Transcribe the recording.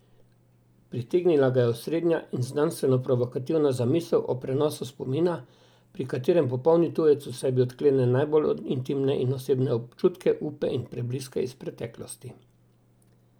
Pritegnila ga je osrednja in znanstveno provokativna zamisel o prenosu spomina, pri katerem popolni tujec v sebi odklene najbolj intimne in osebne občutke, upe in prebliske iz preteklosti.